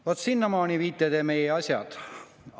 Vaat sinnamaale viite te meie asjad!